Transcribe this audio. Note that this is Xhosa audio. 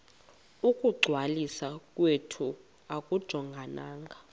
ukungcwaliswa kwethu akujongananga